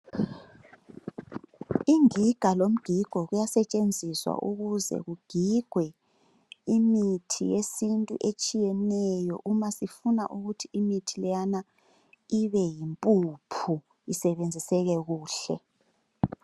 Ingiga lomgigo kuyasetshenziswa ukuze kugingwe imithi yesintu etshiyeneyo uma sifuna imithi leyana ibe yimpuphu isebenziseke kuhle